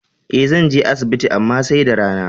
E, zan je asibin amma sai da rana.